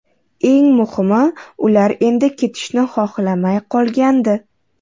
Eng muhimi ular endi ketishni xohlamay qolgandi.